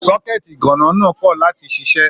Sọkẹ̀tí iganna náà ti kọ láti ṣiṣẹ.